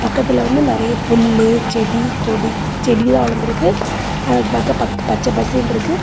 பக்கத்துல வந்து நரைய புள்ளு செடி கோடி செடி த வந்துருக்கு அது பாக்க பச்ச பசேல் நு இருக்கு.